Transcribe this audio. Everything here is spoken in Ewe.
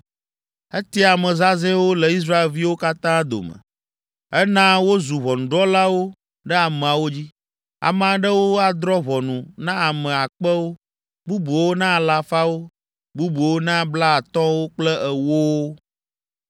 Etia ame zazɛ̃wo le Israelviwo katã dome. Ena wozu ʋɔnudrɔ̃lawo ɖe ameawo dzi. Ame aɖewo adrɔ̃ ʋɔnu na ame akpewo, bubuwo na alafawo, bubuwo na blaatɔ̃wo kple ewowo.